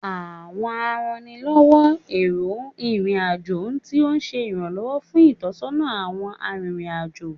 Awọn arannilọwọ ero irin ajo ti o ṣe iranlọwọ ṣe itọsọna awọn aririn ajo